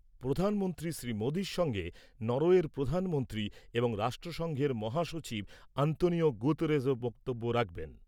প্রধানমন্ত্রী শ্রী মোদির সঙ্গে নরওয়ের প্রধানমন্ত্রী এবং রাষ্ট্রসংঘের মহাসচিব আন্তোনিও গুতেরেসও বক্তব্য রাখবেন ।